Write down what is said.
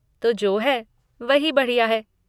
तो जो है वही बढ़िया है।